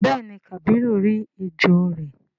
béèni kabiru rí ejó rẹ.